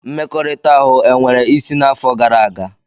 Mmekọrịta ahụ e nwere isí n'afọ gara aga?